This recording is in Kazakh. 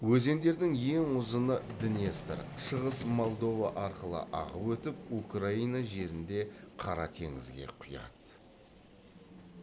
өзендердің ең ұзыны днестр шығыс молдова арқылы ағып өтіп украина жерінде қара теңізге құяды